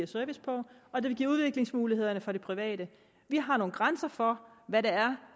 service på og det vil give udviklingsmuligheder for det private vi har nogle grænser for hvad det er